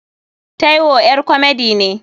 Taiwo ƴar komedi ne.